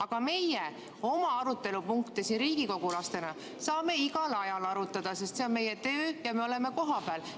Aga meie oma arutelupunkte siin riigikogulastena saame igal ajal arutada, sest see on meie töö ja me oleme kohapeal.